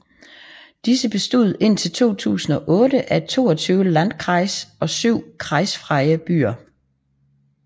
Disse bestod indtil 2008 af 22 landkreise og 7 kreisfrie byer